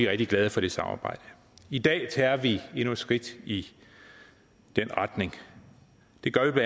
rigtig glade for det samarbejde i dag tager vi endnu et skridt i den retning det gør vi